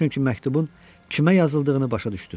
Çünki məktubun kimə yazıldığını başa düşdüm.